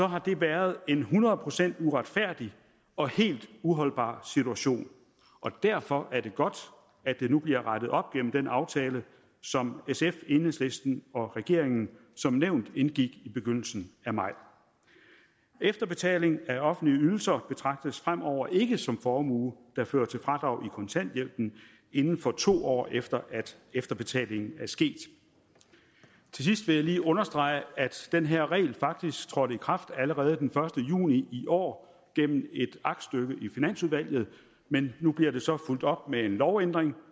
har det været en hundrede procent uretfærdig og helt uholdbar situation og derfor er det godt at det nu bliver rettet op gennem den aftale som sf enhedslisten og regeringen som nævnt indgik i begyndelsen af maj efterbetaling af offentlige ydelser betragtes fremover ikke som formue der fører til fradrag i kontanthjælpen inden for to år efter at efterbetalingen er sket til sidst vil jeg lige understrege at den her regel faktisk trådte i kraft allerede den første juni i år gennem et aktstykke i finansudvalget men nu bliver det så fulgt op med en lovændring